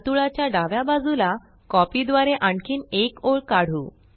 वर्तुळाच्या डाव्या बाजूला कॉपी द्वारे आणखीन एक ओळ काढू